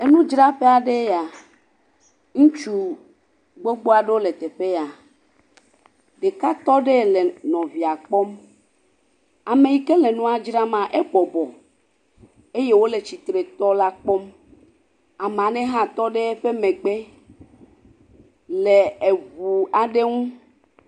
Enudzraƒe aɖee ya, ŋutsu gbogbo aɖewo le teƒe ya, ɖeka tɔ ɖe le nɔvia kpɔm, ame yi ke nua dzra maa, ebɔbɔ eye wòle tsitre tɔ la kpɔm, ame aɖe hã tɔ ɖe eƒe emegbe le eŋu aɖe ŋu.